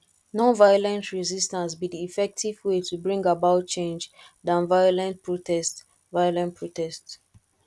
nonviolent resistance be di effective way to bring about change than violent protest violent protest